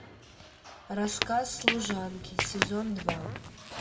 рассказ служанки сезон два